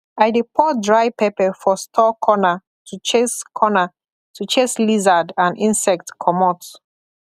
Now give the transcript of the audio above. i dey pour dry pepper for store corner to chase corner to chase lizard and insect comot